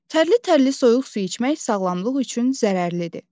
Tərli-tərli soyuq su içmək sağlamlıq üçün zərərlidir.